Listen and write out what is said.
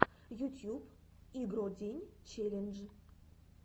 ютьюб игро день челлендж